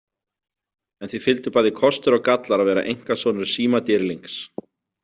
En því fylgdu bæði kostir og gallar að vera einkasonur símadýrlings.